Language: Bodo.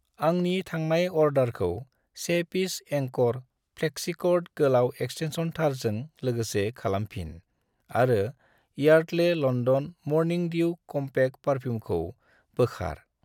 आंनि थांनाय अर्डारखौ 1 पिस एंक'र फ्लेक्सिकर्ड गोलाव एक्सटेन्सन थारजों लोगोसे खालामफिन आरो Yardley London morning dew compact पारफ्युमखौ बोखार।